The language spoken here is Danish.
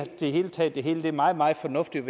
taget det hele er meget meget fornuftigt og